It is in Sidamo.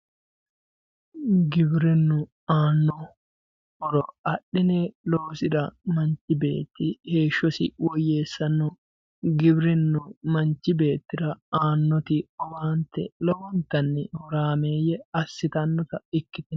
giwirinnu aano horo axxine loosira manch beeti heeshosi woyeessanno giwirinnu manch beetira aanoti owaante lowontanni horaameeye assitannota ikkitanno